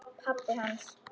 Pabbi hans?